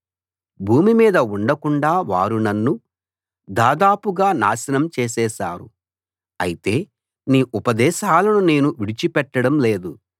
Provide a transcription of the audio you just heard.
భూమి మీద ఉండకుండా వారు నన్ను దాదాపుగా నాశనం చేసేశారు అయితే నీ ఉపదేశాలను నేను విడిచిపెట్టడం లేదు